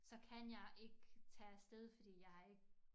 Så kan jeg ikke tage af sted fordi jeg har ikke